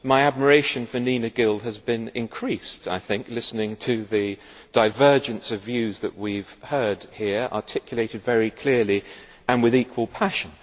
My admiration for Neena Gill has been increased through listening to the divergence of views that we have heard here, articulated very clearly and with equal passion.